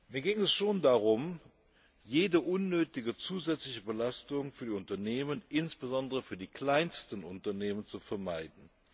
Mir ging es schon darum, jede unnötige zusätzliche Belastung für die Unternehmen, insbesondere für die kleinsten Unternehmen, zu vermeiden.